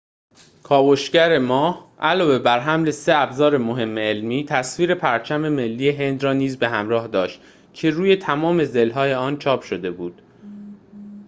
کاوشگر ماه علاوه بر حمل سه ابزار مهم علمی تصویر پرچم ملی هند را نیز به همراه داشت که روی تمام ضلع‌های آن چاپ شده بود